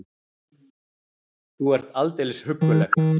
Þú ert aldeilis hugguleg!